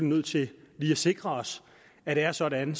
nødt til lige at sikre os at det er sådan